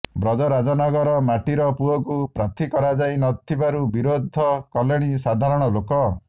ବ୍ରଜରାଜନଗର ମାଟିର ପୁଅକୁ ପ୍ରାର୍ଥୀ କରାଯାଇ ନ ଥିବାରୁ ବିରୋଧ କଲେଣି ସାଧାରଣ ଲୋକେ